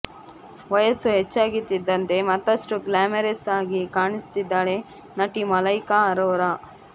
ವಯಸ್ಸು ಹೆಚ್ಚಾಗ್ತಿದ್ದಂತೆ ಮತ್ತಷ್ಟು ಗ್ಲಾಮರಸ್ ಆಗಿ ಕಾಣ್ತಿದ್ದಾಳೆ ನಟಿ ಮಲೈಕಾ ಅರೋರಾ